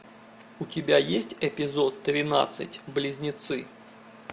у тебя есть эпизод тринадцать близнецы